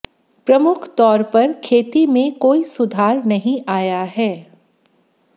प्रमुख तौर पर खेती में कोई सुधार नहीं आया है